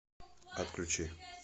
отключи